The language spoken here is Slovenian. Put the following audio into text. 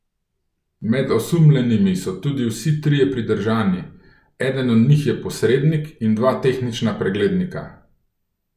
Med osumljenimi so tudi vsi trije pridržani, eden od njih je posrednik in dva tehnična preglednika.